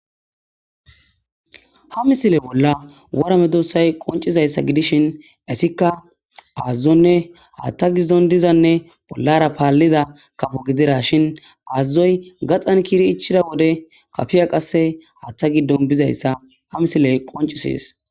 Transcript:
Ha misile bolla warame doossay qoncizayssa gidishin etikka aazazonne haaththa giddon dizanne bollara paallida kafo gidira shin aazazoy gaxan kiiri ichida wode kafiya qasse haaththa giddon bizayssa ha misiley qoncisees.